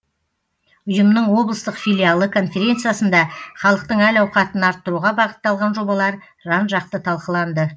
ұйымның облыстық филиалы конференциясында халықтың әл ауқатын арттыруға бағытталған жобалар жан жақты талқыланды